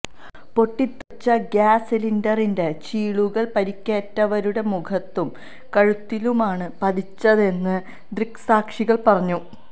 പൊട്ടിത്തെറിച്ച gas സിലിണ്ടറിന്റെ ചീളുകള് പരിക്കേറ്റവരുടെ മുഖത്തും കഴുത്തിലുമാണ് പതിച്ചതെന്ന് ദൃക്സാക്ഷികള് പറഞ്ഞു